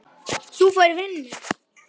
Þú færð vinnu.